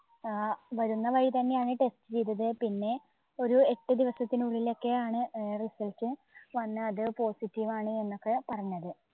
ആ വരുന്ന വഴി തന്നെയാണ് test ചെയ്തത്. പിന്നെ ഒരു എട്ട് ദിവസത്തിനുള്ളിൽ ഒക്കെയാണ് ഏർ result വന്ന് അത് positive ആണ് എന്നൊക്കെ പറഞ്ഞത്.